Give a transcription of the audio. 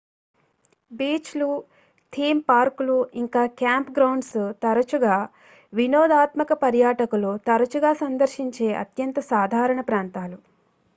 beach లు theme పార్కులు ఇంకా క్యాంప్ గ్రౌండ్స్ తరచుగా వినోదాత్మక పర్యాటకులు తరచుగా సందర్శించే అత్యంత సాధారణ ప్రాంతాలు